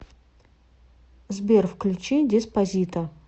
сбер включи деспасито